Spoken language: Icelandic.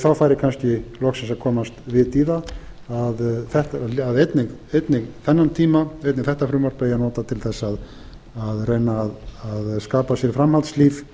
þá færi kannski loksins að komast vit í það að einnig þetta frumvarp eigi að nota til þess að reyna að skapa sér framhaldslíf